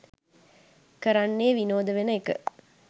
කරන්නේ විනෝද වෙන එක.